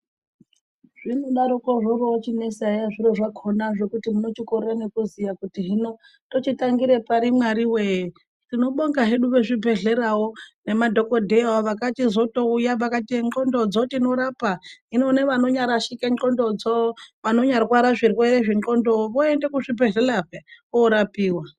Zvinodariko zvorochinesa eya zviro zvakona zvekuti munochikorera nekuziya kuti hino tochitangira pari Mwari wee , tinobonga hedu vezvibhehleyawo nedhokoteyawo vakachizotouya vakati ne ndxondodzo tinorapa hino nevanonyarashika ndxondodzo vanonyarwara zvirwere zve ndxondo voenda kuzvibhehlera peya korapiwa.